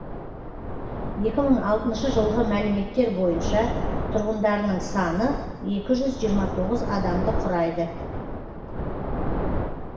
екі мың алтыншы жылғы мәліметтер бойынша тұрғындарының саны екі жүз жиырма тоғыз адамды құрайды